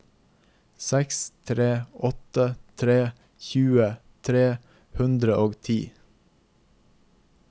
seks tre åtte tre tjue tre hundre og ti